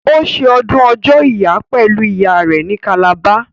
Ó ṣe ọdún ọjọ́ ìyá pẹ̀lú ìyá rẹ ní Calabar